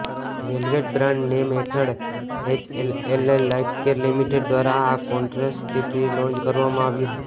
velvet brand name હેઠળ HLL life care limited દ્વારા આ કોન્ટ્રાસેપ્ટિવ લોન્ચ કરવામાં આવ્યું હતું